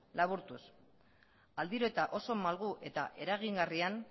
laburtuz aldiro eta oso malgu eta eragingarrian